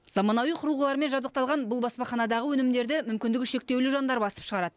заманауи құрылғылармен жабдықталған бұл баспаханадағы өнімдерді мүмкіндігі шектеулі жандар басып шығарады